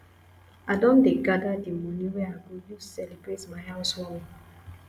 i don dey gather the money wey i go use celebrate my house warming